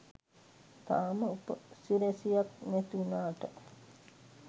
තාම උපසිරැසියක් නැතිවුනාට